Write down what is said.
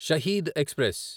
Shaheed express